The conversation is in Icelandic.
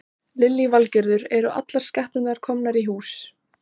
notaðar til að afmarka háhitasvæðið í samningum hitaveitunnar við landeigendur.